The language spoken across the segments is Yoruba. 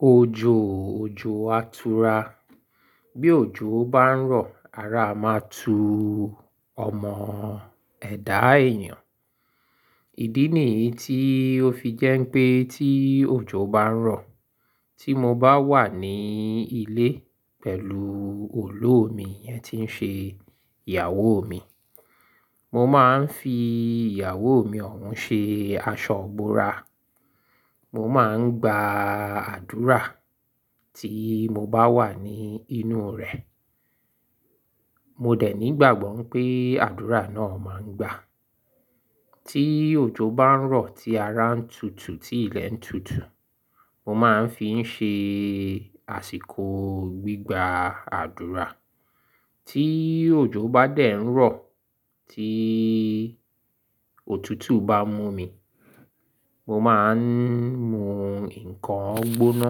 Ojoo, ojo atura. Bí ojo bá ń rọ̀, ara máa tu ọmọ ẹ̀dá èèyàn. Ìdí nìyí tí ó fi jẹ́ pé tí ojo bá ń rọ̀, tí mo bá wà ní ilé pẹ̀lú olóomi iyẹn tí ń ṣe ìyàwó mi, mo máa ń fi ìyàwó mi ọ̀hún ṣe aṣọ ìbora. Mo máa ń gba àdúrà tí mo bá wà ní inú rẹ̀. Mo dẹ̀ ní ìgbàgbọ́ pé àdúrà náà máa ń gba. Tí ojo bá ń rọ̀ tí ara ń tutù, tí ilẹ̀ ń tutù, mo máa ń fi ń ṣe àsìkò gbígba àdúrà. Tí ojo bá dẹ̀ ń rọ̀ tí òtútù bá mú mi, mo máa ń mu nǹkan gbóná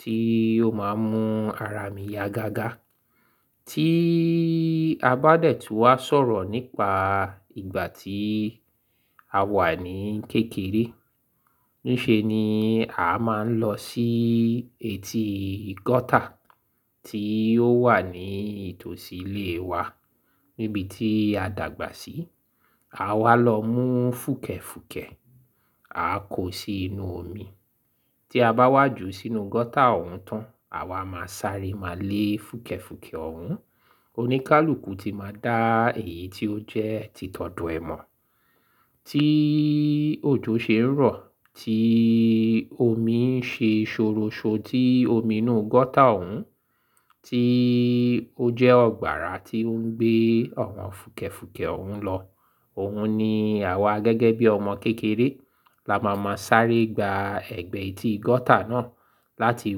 tí ó máa ń mú ara mi ya gágá. Tí i a bá dẹ̀ tún wá sọ̀rọ̀ nípa ìgbà tí a wà ní kékeré, níṣe ni a máa ń lọ sí etí gọ́tà tí ó wà ní itòsí ilé wa níbi tí a dàgbà sí. A wá lọ mú fùkẹ̀fùkẹ̀, a kó sí inú omi. Tí a bá wá jù sínú gọ́tà ọ̀hún tán, àwa máa sáré máa lé fùkẹ̀fùkẹ̀ ọ̀hún. Oníkálùkù ti máa dá èyí tí ó jẹ́ títọ́dò ẹ̀ mọ. Tí ojo ṣe ń rọ̀ tí omi ń ṣe ṣòroṣo tí omi inú gọ́tà ọ̀hún tí ó jẹ́ ọgbàrá tí oń gbé àwọn fùkẹ̀fùkẹ̀ ọ̀hún lọ. Òhun ni àwa gẹ́gẹ́ bí ọmọ kékeré la máa ma sáré gba ẹ̀gbẹ́ etí gọ́tà náà láti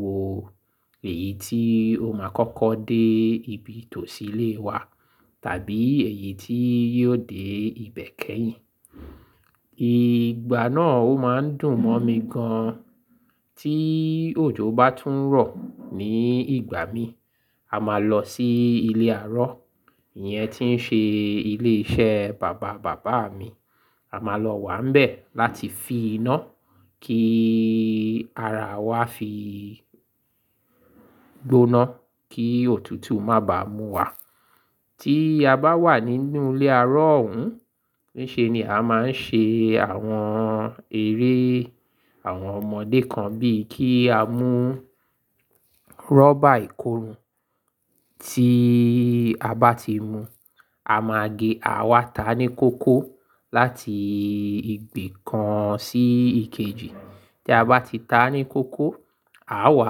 wo èyí tí ó máa kọ́kọ́ dé ibi tòsí ilé wa tàbí èyí tí yóò dé ibẹ̀ kẹ́yìn. Ìgbà náà ó máa ń dùn mọ́ mi gan. Tí ojo bá tún rọ̀ ní ìgbà mi, a máa lọ sí ilé arọ, ìyẹn tí ń ṣe ilé iṣẹ́ bàba bàbá mi. A máa lọ wà nbẹ̀ láti fin iná kí ara wa fi gbóná kí òtútù má bàá mú wa. Tí a bá wà nínú ilé arọ ọ̀hún, níṣe ni a máa ń ṣe àwọn eré àwọn ọmọdé kan bíi kí a mú rọ́bà ìkórùn. Tí a bá ti mu, a máa gé, à wa ta ní kókó láti ìbi kan sí ikejì. Tí a bá ti ta ní kókó, a wá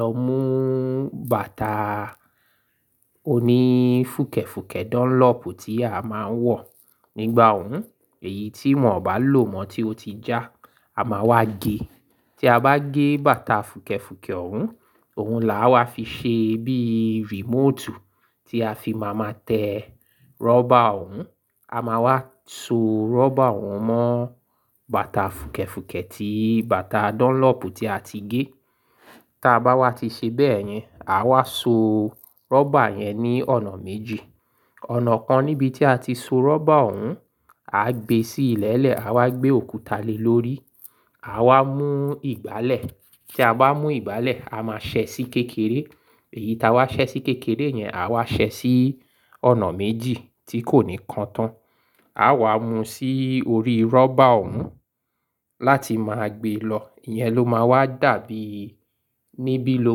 lọ mú bàtà oní fùkẹ̀fùkẹ̀ Dunlop tí a máa ń wọ̀ nígbà ọ̀hún, èyí tí wọ́n bá lò mọ́ tí ó ti já, a máa wá gé. Tí a bá gé bàtà fùkẹ̀fùkẹ̀ ọ̀hún, òun làá wá fi ṣe bíì remotu tí a fi máa ma tẹ rọ́bà ọ̀hún. A máa wá so rọ́bà ọ̀hún mọ́ bàtà fùkẹ̀fùkẹ̀ ti bàtà Dunlop tí a ti gé. Ta bá wá ti ṣe bẹ́ẹ̀ yẹn, a wá so rọ́bà yẹn ní ọ̀nà méjì. Ọ̀nà kan níbi tí a ti so rọ́bà ọ̀hún, a gbé sí ìlẹ̀lẹ̀, a wá gbé òkúta lé lórí, a wá mú ìgbálẹ̀. Tí a bá mú ìgbálẹ̀, a máa ṣẹ sí kékeré. Èyí ta wá ṣẹ sí kékeré yẹn, à wá ṣẹ sí ọ̀nà méjì tí kò ní kan tán. A wá mú sí orí rọ́bà ọ̀hún láti máa gbé lọ. Ìyẹn ló máa wá dàbí níbí ló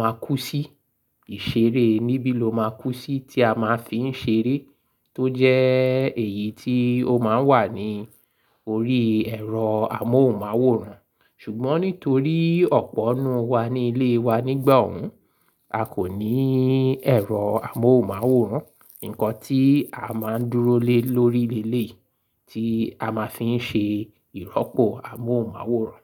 máa kú sí. Ìṣeré níbí ló máa kú sí tí a máa fi ń ṣeré tó jẹ́ èyí tí ó máa ń wà ní orí ẹ̀rọ amóhùnmáwòrán. Ṣùgbọ́n nítorí ọ̀pọ̀ nnú wa ní ilé wa nígbà ọ̀hún, a kò ní ẹ̀rọ amóhùnmáwòrán. Nǹkan tí a máa ń dúró lé lórí leeléyi tí a máa fi ń ṣe ìrọ́pò amóhùnmáwòrán.